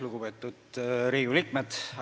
Lugupeetud Riigikogu liikmed!